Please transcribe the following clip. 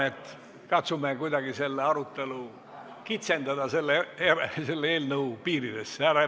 Aga katsume kuidagi selle arutelu kitsendada selle eelnõu piiridesse.